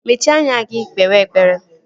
Mechie anya gị kpewe ekpere!